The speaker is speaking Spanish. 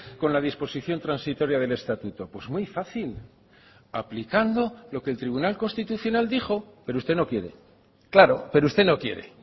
con la disposición transitoria del estatuto pues muy fácil aplicando lo que el tribunal constitucional dijo pero usted no quiere claro pero usted no quiere